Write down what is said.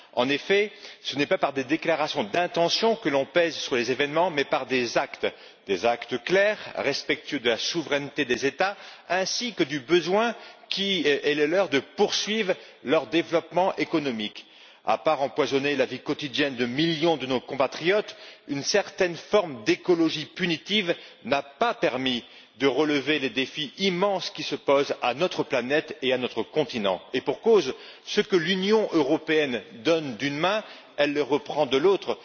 En effet, ce n'est pas par des déclarations d'intention que l'on pèse sur les événements, mais par des actes clairs, respectueux de la souveraineté des États, ainsi que du besoin qui est le leur de poursuivre leur développement économique. Se limitant à empoisonner la vie quotidienne de millions de nos compatriotes, une certaine forme d'écologie punitive n'a pas permis de relever les défis immenses qui se posent à notre planète et à notre continent, et pour cause ce que l'Union européenne donne d'une main, elle le reprend de l'autre.